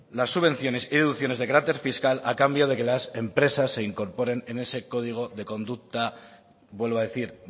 las subvenciones y deducciones de carácter fiscal a cambio de que las empresas se incorporen en ese código de conducta vuelvo a decir